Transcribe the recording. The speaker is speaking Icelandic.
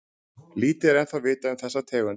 lítið er ennþá vitað um þessa tegund